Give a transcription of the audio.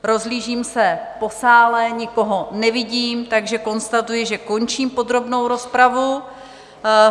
Rozhlížím se po sále, nikoho nevidím, takže konstatuji, že končím podrobnou rozpravu.